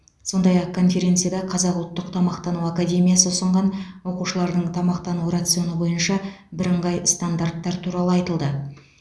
сондай ақ конференцияда қазақ ұлттық тамақтану академиясы ұсынған оқушылардың тамақтану рационы бойынша бірыңғай стандарттар туралы айтылды